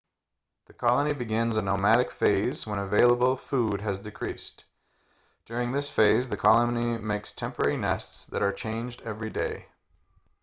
the colony begins a nomadic phase when available food has decreased during this phase the colony makes temporary nests that are changed everyday